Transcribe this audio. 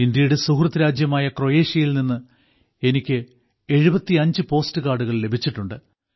ഇന്ത്യയുടെ സുഹൃദ് രാജ്യമായ ക്രൊയേഷ്യയിൽനിന്ന് എനിക്ക് 75 പോസ്റ്റ് കാർഡുകൾ ലഭിച്ചിട്ടുണ്ട്